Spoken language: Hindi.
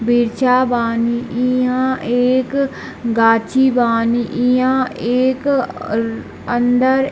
वृछा बानी इहा एक गाछी बानी इहा एक अ अंदर --